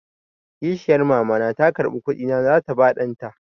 Kishiyar Mama na ta karɓi kuɗi na za ta ba ɗan ta.